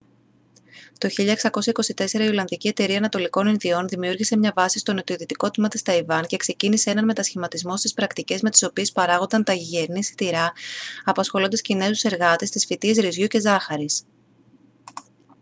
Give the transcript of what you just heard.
το 1624 η ολλανδική εταιρεία ανατολικών ινδιών δημιούργησε μια βάση στο νοτιοδυτικό τμήμα της ταϊβάν και ξεκίνησε έναν μετασχηματισμό στις πρακτικές με τις οποίες παράγονταν τα γηγενή σιτηρά απασχολώντας κινέζους εργάτες στις φυτείες ρυζιού και ζάχαρης